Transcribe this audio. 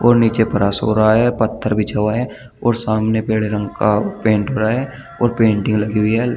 और नीचे फर्श हो रहा है पत्थर बिछा हुआ है और सामने पीले रंग का पेंट पड़ा है और पेंटिंग लगी हुई है।